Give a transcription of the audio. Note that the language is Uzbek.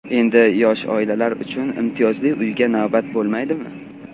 Endi yosh oilalar uchun imtiyozli uyga navbat bo‘lmaydimi?.